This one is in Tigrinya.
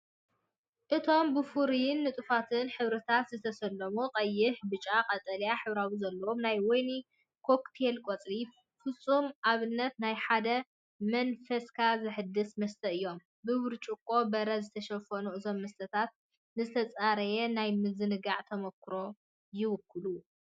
እቶም ብፍሩይን ንጡፋትን ሕብርታት ዝተሰለሙ ቀይሕ፡ ብጫን ቀጠልያን ሕብሪ ዘለዎም ናይ ወይኒ ኮክቴል ቆጽሊ፡ ፍጹም ኣብነት ናይ ሓደ መንፈስካ ዘሐድስ መስተ እዮም። ብብርጭቆ በረድ ዝተሸፈኑ እዞም መስተታት ንዝተጸረየ ናይ ምዝንጋዕ ተመክሮ ይውክሉ።"